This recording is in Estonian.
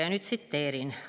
Ja nüüd tsiteerin.